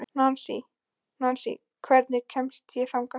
Nansý, hvernig kemst ég þangað?